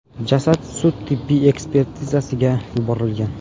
Jasad sud-tibbiy ekspertizasiga yuborilgan.